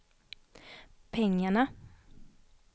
pengarna